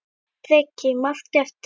Breki: Margar eftir?